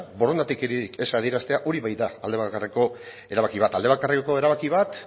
borondaterik ez adieraztea hori bai ba aldebakarreko erabaki bat aldebakarreko erabaki bat